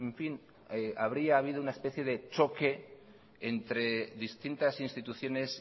fin habría habido una especie de choque entre distintas instituciones